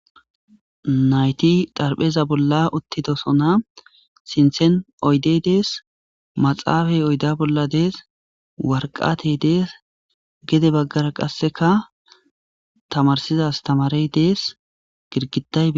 Nayti dharpheza bola uthidosona sinten oydey des maxafay oyde bola dees warqatey dees gede bagara qaseka tamarsiza astamarey dees girgiday betes.